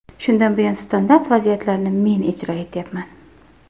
Shundan buyon standart vaziyatlarni men ijro etyapman.